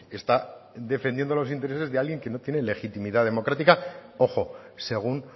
está defendiendo los intereses de alguien que no tiene legitimidad democrática ojo según